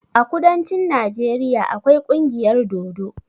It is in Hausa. A kudancin Najeriya akwai kungiyar dodo.